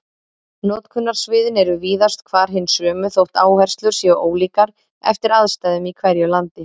Notkunarsviðin eru víðast hvar hin sömu þótt áherslur séu ólíkar eftir aðstæðum í hverju landi.